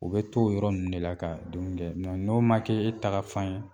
U bɛ t'o yɔrɔ ninnu de la ka dun kɛ no n'o ma kɛ e tagafan ye